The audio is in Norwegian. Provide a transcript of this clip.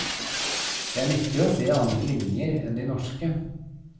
Det er nyttig å se andre linjer enn de norske.